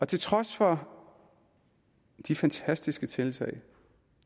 til trods for de fantastiske tiltag